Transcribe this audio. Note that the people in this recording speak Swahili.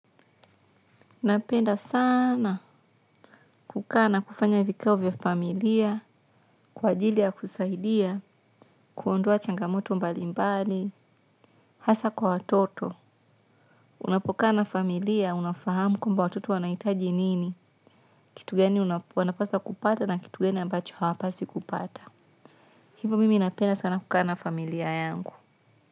Napenda sana kukaa na kufanya vikao vya familia, kwa ajili ya kusaidia, kuondoa changamoto mbalimbali, hasa kwa watoto. Unapokaa na familia, unafahamu kwamba watoto wanahitaji nini, kitu gani wanapaswa kupata na kitu gani ambacho hawapaswi kupata. Hivyo mimi napenda sana kukaa na familia yangu.